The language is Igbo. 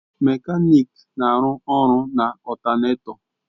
Mekaniki na-arụ ọrụ na ọltánètọ